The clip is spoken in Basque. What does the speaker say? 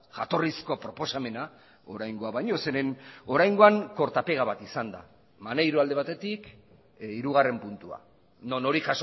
jatorrizko proposamena oraingoa baino zeren oraingoan korta pega bat izan da maneiro alde batetik hirugarren puntua non hori